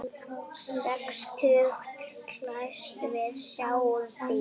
Sextugt glæst við sjáum víf.